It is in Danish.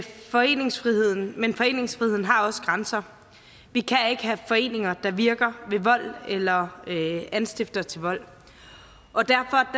foreningsfriheden men foreningsfriheden har også grænser vi kan ikke have foreninger der virker ved vold eller anstifter til vold og derfor